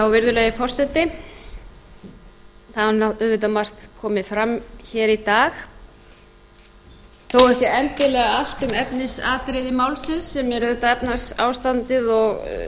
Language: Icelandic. virðulegi forseti það hefur auðvitað margt komið fram hér í dag þó ekki endilega allt um efnisatriði málsins sem er auðvitað efnahagsástandið og